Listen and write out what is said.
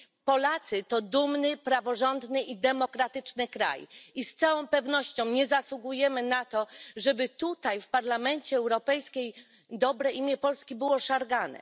Polacy to dumny, praworządny i demokratyczny kraj i z całą pewnością nie zasługujemy na to, żeby tutaj w Parlamencie Europejskim dobre imię Polski było szargane.